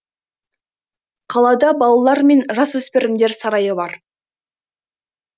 қалада балалар мен жасөспірімдер сарайы бар